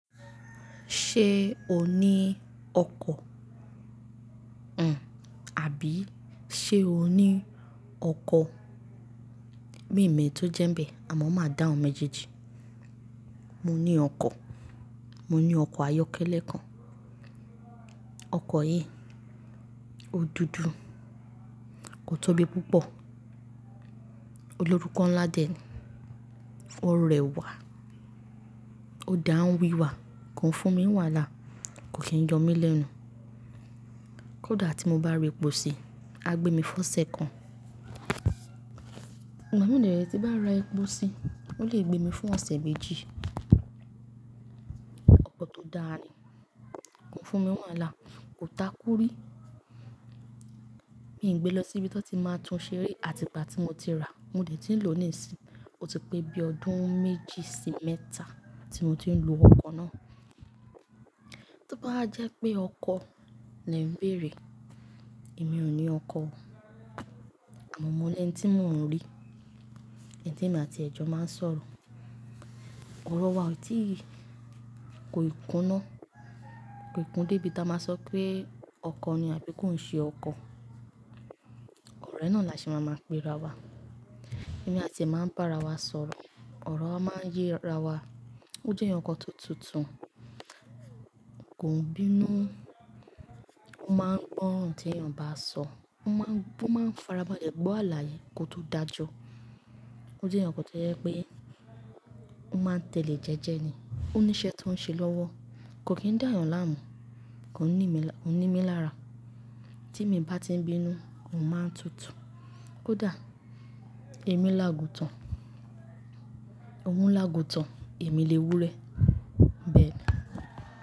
Ṣé o ní ọkọ̀? Àbí ṣé o ní ọkọ? Mi mẹ́ tó jẹ́nbẹ̀ àmọ́ máa dá ọ méjèèjì. Mo ní ọkọ̀, mo ní ọkọ̀ ayọ́kẹ́lẹ́ kan. Ọkọ̀ yìí, ó dúdú, kò tóbi púpọ̀, olórúkọ ńlá dẹ̀ni, ó rẹwà, ó dá n wíwà, kò ń fún mi wàhálà, kò kí ń yọ mí lẹ́nu. Kódà tí mo bá ra epò ṣì, a gbé mi fọ́ṣẹ kan. Ìgbà mi dẹ rẹ̀ tí n bá rà ẹ póṣí, ó lè gbé mi fún ọ̀sẹ̀ méjì. Ọkọ̀ tó dára ni, kò fún mi wàhálà, kò takúrí. Mí gbé lọ síbi tó ti máa tún ṣe rí àti ìgbà tí mo ti rà, mo dẹ̀ ti ń lò ó níìsín, ó ti pé bí ọdún méjì sí mẹ́ta tí mo ti ń lo ọkọ̀ náà. Tí ó bá jẹ́ pé ọkọ lẹ̀ ń bèrè, èmi ò ní ọkọ, àmọ́ mo ní ẹ́ni tí mo ń rí, ẹ́ni tí èmi àti ẹ̀ jọ̀ máa ń sọ̀rọ̀. Ọ̀rọ̀ wa ò tíì kó ì kunná, kò ìkun dé ibi tí a máa sọ pé ọkọ ni àbí kó ń ṣe ọkọ. Ọ̀rẹ́ náà la ṣi máa ń pè ra wa. Èmi àti ẹ́ máa ń bá ara wa sọ̀rọ̀, ọ̀rọ̀ wa máa ń yé ara wa. Ó jẹ́ ẹni ọkọ tó tutù, kò ń bínú, ó máa ń gbọ́n ohun tí èèyàn bá sọ, ó máa ń farabalẹ̀ gbọ́ àláye kó tó dájọ́. Ó jẹ́ ẹeyan kan tó jẹ pé ó máa ń tẹ̀lé jẹ́jẹ́ ni. Ó ní iṣẹ́ tó ń ṣe lọ́wọ́, kò kí ń dá èèyàn láàmú, kò ní mí lára. Tí èmi bá ti ń bínú, òun máa ń tutù. Kódà èmi lágután, òun lágután, èmi lè wúre. Ì bẹ ni.